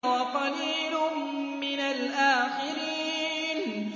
وَقَلِيلٌ مِّنَ الْآخِرِينَ